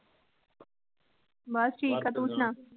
ਬਸ ਠੀਕ ਤੂੰ ਸਣਾ